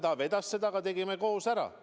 Jah, ta vedas seda, aga tegime selle koos ära.